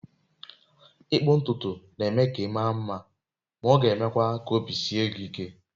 Ịkpụ ntutu na-eme ka ị maa mma, ma ọ ga-emekwa ka obi sie gị ike.